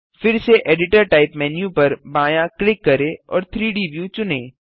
फिस से editor type menu पर बायाँ क्लिक करें और 3डी व्यू चुनें